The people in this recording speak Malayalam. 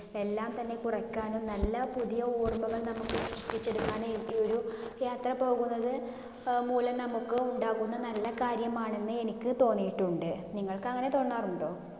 എല്ലാം തന്നെ കുറക്കാനും നല്ല പുതിയ ഓർമ്മകൾ നമ്മുക്ക് ഈയൊരു യാത്ര പോകുന്നത് അഹ് മൂലം നമ്മുക്ക് ഉണ്ടാകുന്ന നല്ല കാര്യമാണെന്ന് എനിക്ക് തോന്നിയിട്ടുണ്ട്. നിങ്ങൾക്ക് അങ്ങിനെ തോന്നാറുണ്ടോ?